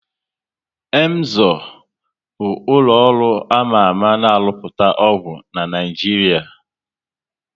Emzor bụ ụlọ ọrụ ama ama na rụpụta ọgwụ na Naịjiria